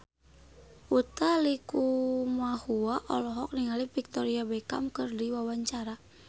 Utha Likumahua olohok ningali Victoria Beckham keur diwawancara